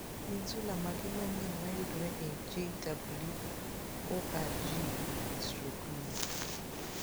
Gin sula mage manyien mayudore e jw.org/luo?